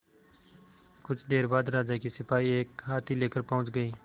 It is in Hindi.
कुछ देर बाद राजा के सिपाही एक हाथी लेकर पहुंच गए